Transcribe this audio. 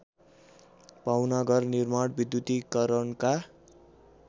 पाहुनाघर निर्माण विद्युतीकरणका